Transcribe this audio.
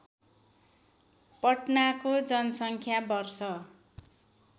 पटनाको जनसङ्ख्या वर्ष